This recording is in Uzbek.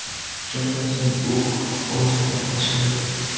Shundan so‘ng u o‘ljasini tashlagan.